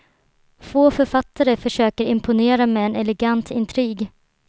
Få författare försöker imponera med en elegant intrig.